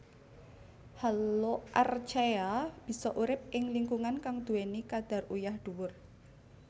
Haloarchaea bisa urip ing lingkungan kang duweni kadar uyah dhuwur